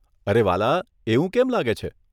અરે, વ્હાલા, એવું કેમ લાગે છે?